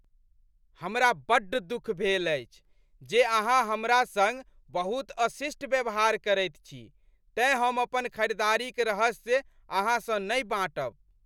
हमरा बड्ड दुख भेल अछि जे अहाँ हमरा संग बहुत अशिष्ट व्यवहार करैत छी तेँ हम अपन खरीदारीक रहस्य अहाँसँ नहि बाँटब।